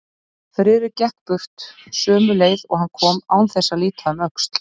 Friðrik gekk burt sömu leið og hann kom án þess að líta um öxl.